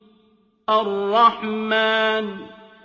الرَّحْمَٰنُ